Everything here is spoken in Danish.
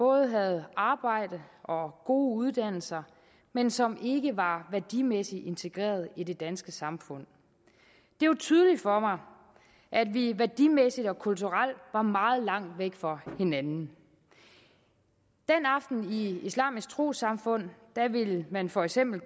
havde arbejde og gode uddannelser men som ikke var værdimæssigt integreret i det danske samfund det var tydeligt for mig at vi værdimæssigt og kulturelt var meget langt væk fra hinanden den aften i islamisk trossamfund ville man for eksempel